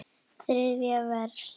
Þriðja vers.